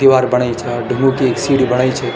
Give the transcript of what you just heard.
दीवार बणायि चा ढुंगु की ऐक सीढ़ी बणायी च।